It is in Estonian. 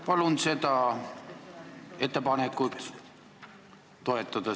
Palun seda ettepanekut toetada!